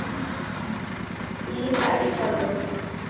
Þín Elsa Lind.